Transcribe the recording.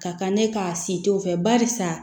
Ka kan ne k'a siton fɛ barisa